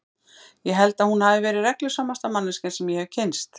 Ég held að hún hafi verið reglusamasta manneskjan sem ég hefi kynnst.